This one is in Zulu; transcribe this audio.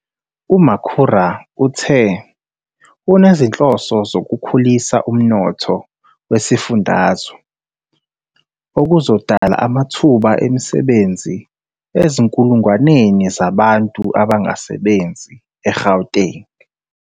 UMakhura uthe unezinhloso zokukhulisa umnotho wesifundazwe, okuzodala amathuba emisebenzi ezinkulungwaneni zabantu abangasebenzi eGauteng.